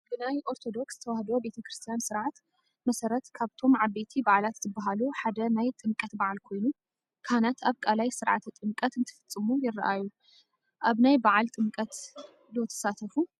ብናይ ኦርቶዶክስ ተዋህዶ ቤተ ክርስትያን ስርዓት መሠረት ካብቶም ዓበይቲ በዓላት ዝባሃሉ ሓደ ናይ ጥምቀት በዓል ኮይኑ ካህናት ኣብ ቃላይ ስርዓተ ጥምቀት እንትፍፅሙ ይራኣዩ እዩ፡፡ ኣብ ናይ በዓል ጥምቀት ኦ ትሳተፉ?